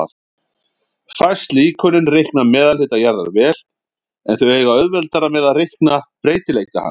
Fæst líkönin reikna meðalhita jarðar vel, en þau eiga auðveldara með að reikna breytileika hans.